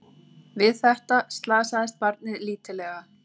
Við þetta slasaðist barnið lítillega